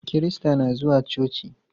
Kirista na zuwa coci.